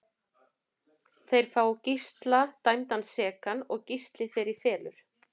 Þeir fá Gísla dæmdan sekan og Gísli fer í felur.